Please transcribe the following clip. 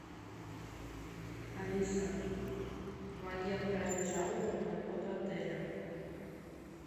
алиса помоги отправить жалобу на работу отеля